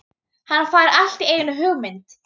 Óli, er opið í ÁTVR?